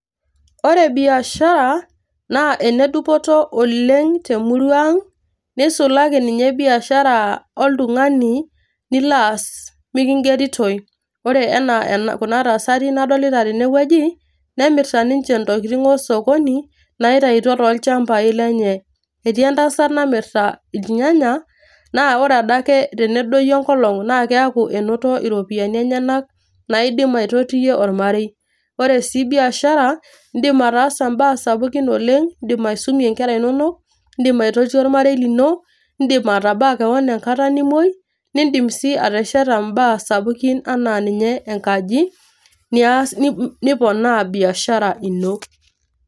Ore biashara naa ene dupoto oleng' te murrua ang' nisulaki ninye biashara oltung'ani nilo aas meking'eritoi. Ore kuna tasati nadolita tene wueji nemirita ninje ntokitin osokoni naitayutuo tolchambai lenye. Etii entasat namirrita inyanyak naa ore adake tenedoyio enkolong' naa keeku enoto ropiani enyenak naidim aitotiyie ormarei. Ore sii biashara indim ataasa mbaa sapukin oleng, indim aisumie nkera inonok, indim aitotie ormarei lino, indim atabaa keon enkata nimuei, nindim sii atesheta mbaa sapukin enaa ninye enkaji, nias niponaa biashara ino.